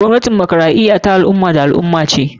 Gwamnatin demokaraɗiya ta al ummah wa al ummah kuma da al ummah.